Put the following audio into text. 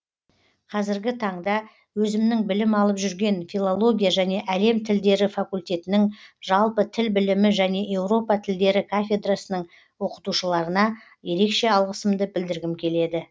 қазіргі таңда өзімнің білім алып жүрген филология және әлем тілдері факультетінің жалпы тіл білімі және еуропа тілдері кафедрасының оқытушыларына ерекше алғысымды білдіргім келеді